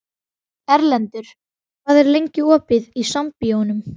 Erlendur, hvað er lengi opið í Sambíóunum?